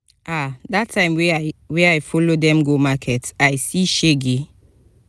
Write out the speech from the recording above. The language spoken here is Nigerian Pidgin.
ah dat time wey i wey i follow dem go market i see shege.